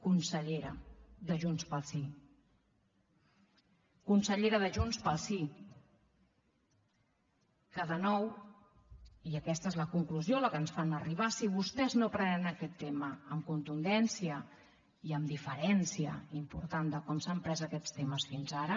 consellera de junts pel sí consellera de junts pel sí de nou i aquesta és la conclusió a la que ens fan arribar si vostès no es prenen aquest tema amb contundència i amb diferència important respecte a com s’han pres aquests temes fins ara